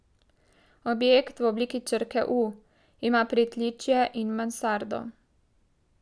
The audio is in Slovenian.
Objekt v obliki črke U ima pritličje in mansardo.